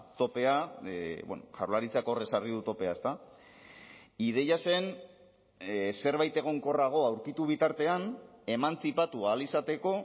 topea jaurlaritzak hor ezarri du topea ezta ideia zen zerbait egonkorrago aurkitu bitartean emantzipatu ahal izateko